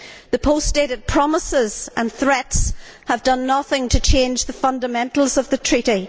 The post dated promises and threats have done nothing to change the fundamentals of the Treaty.